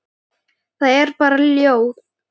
Það er bara ljóð.